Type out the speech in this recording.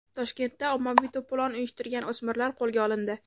Toshkentda ommaviy to‘polon uyushtirgan o‘smirlar qo‘lga olindi.